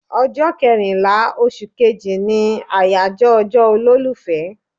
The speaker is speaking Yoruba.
Ọjọ́ kẹrìnlá oṣù kejì ni àyájọ́ ọjọ́ olólùfẹ́